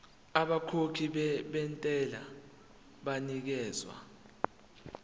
abakhokhi bentela banikezwa